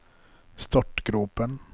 startgropen